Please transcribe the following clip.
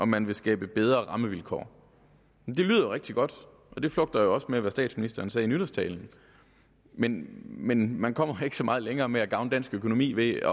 man vil skabe bedre rammevilkår det lyder rigtig godt og det flugter jo også med hvad statsministeren sagde i nytårstalen men men man kommer ikke så meget længere med at gavne dansk økonomi ved